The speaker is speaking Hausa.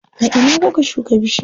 A ina kuka shuka bishiyar?